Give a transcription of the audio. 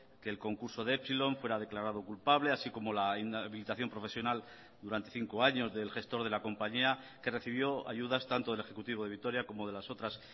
que el concurso de epsilon fuera declarado culpable así como la inhabilitación profesional durante cinco años del gestor de la compañía que recibió ayudas tanto del ejecutivo de vitoria como de las otras